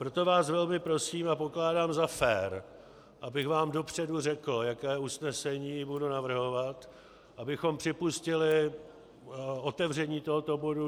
Proto vás velmi prosím a pokládám za fér, abych vám dopředu řekl, jaké usnesení budu navrhovat, abychom připustili otevření tohoto bodu.